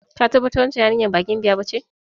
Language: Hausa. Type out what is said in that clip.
Ka tabbatar wancan yarinya ba daga Gambiya ba kuwa?